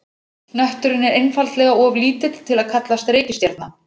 Hnötturinn er einfaldlega of lítill til að kallast reikistjarna.